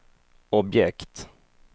objekt